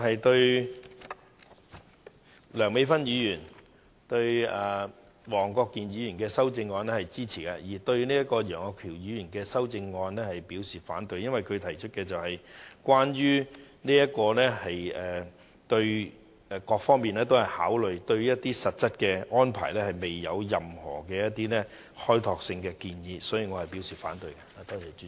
對於梁美芬議員及黃國健議員的修正案，我表示支持，而會反對楊岳橋議員的修正案，因為他只提出了關於各方面的考慮，但對實質安排卻沒有任何開拓性的建議，所以我表示反對。